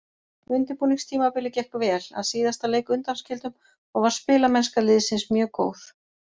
Undirbúningstímabilið gekk vel, að síðasta leik undanskildum, og var spilamennska liðsins mjög góð.